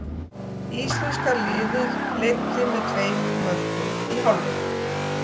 Íslenska liðið leiddi með tveimur mörkum í hálfleik.